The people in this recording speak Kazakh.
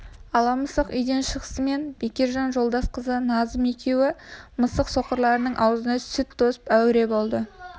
ала мысық үйден шығысымен бекежан жолдас қызы назым екеуі мысық соқырларының аузына сүт тосып әуре болады